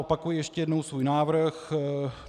Opakuji ještě jednou svůj návrh.